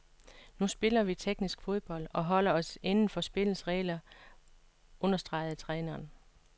Nu spiller vi teknisk fodbold, og holder os indenfor spillets regler, understregede træneren.